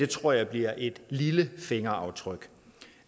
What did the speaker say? tror jeg bliver et lille fingeraftryk